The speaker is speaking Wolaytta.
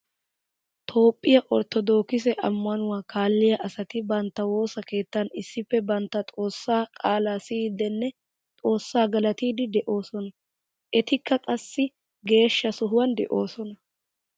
Toophphiya orttodookisse amannuwa kaaliya asatti bantta woosa keettan issippe bantta xoosa qaala siyidenne xoosa galatidde de'osonna. Ettikka qassi geeshsha sohuwan de'osona.